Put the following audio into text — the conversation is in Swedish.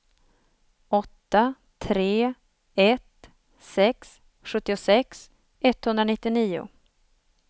åtta tre ett sex sjuttiosex etthundranittionio